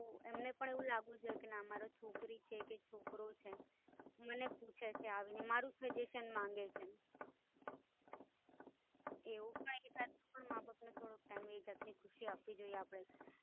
તો એમને પણ એવું લાગવું જોઈએ કે ના મારુ છોકરી છે કે છોકરો છે, મને પૂછે છે આવીને મારુ સજેશન માંગે છે, એવું કઈ માબાપ ને થોડો Time એક જાતની ખુશી અપાવી જોઈએ.